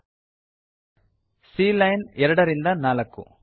c line 2 ರಿಂದ 4